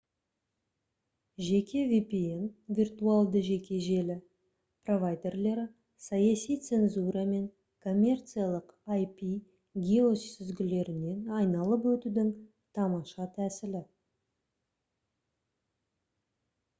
жеке vpn виртуалды жеке желі провайдерлері — саяси цензура мен коммерциялық ip геосүзгілерінен айналып өтудің тамаша тәсілі